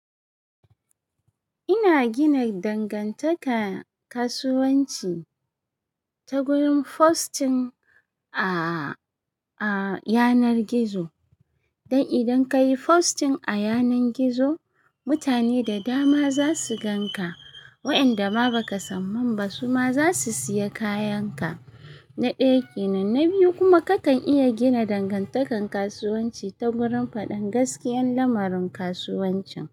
Ina gina dangantaka kasuwanci ta gurin posting a, a yanar gizo. Dai idan ka yi posting a yanar gizo, mutane da dama za su gan ka. Waɗanda ma ba ka san su ba su ma za su siya kayan ka. Na ɗaya kenan, na biyu kuma ka kan iya gina dangantakan kasuwanci ta gurin faɗan gaskiyan lamarin kasuwancin.